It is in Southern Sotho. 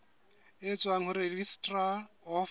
e tswang ho registrar of